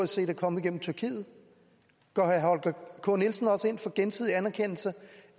set er kommet gennem tyrkiet går herre holger k nielsen også ind for gensidig anerkendelse